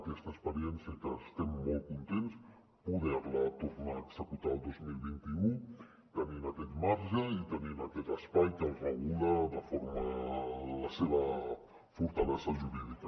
aquesta experiència que n’estem molt contents poder la tornar a executar el dos mil vint u tenint aquest marge i tenint aquest espai que regula la seva fortalesa jurídica